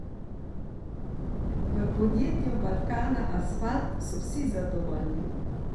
V podjetju Balkanasfalt so vsi zadovoljni.